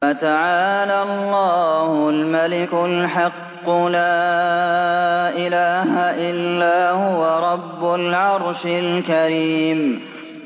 فَتَعَالَى اللَّهُ الْمَلِكُ الْحَقُّ ۖ لَا إِلَٰهَ إِلَّا هُوَ رَبُّ الْعَرْشِ الْكَرِيمِ